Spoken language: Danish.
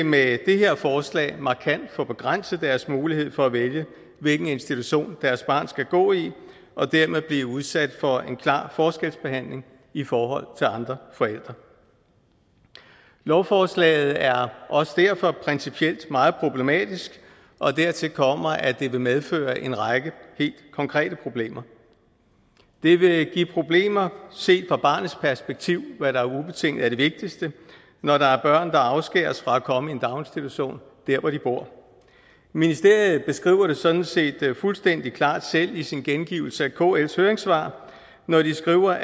med det her forslag markant få begrænset deres mulighed for at vælge hvilken institution deres barn skal gå i og dermed blive udsat for en klar forskelsbehandling i forhold til andre forældre lovforslaget er også derfor principielt meget problematisk og dertil kommer at det vil medføre en række helt konkrete problemer det vil give problemer set fra barnets perspektiv hvad der ubetinget er det vigtigste når der er børn der afskæres fra at komme i en daginstitution dér hvor de bor ministeriet beskriver det sådan set fuldstændig klart selv i sin gengivelse af kls høringssvar når de skriver